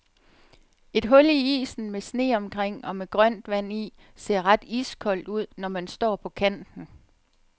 Et hul i isen med sne omkring og med grønt vand i ser ret iskoldt ud, når man står på kanten.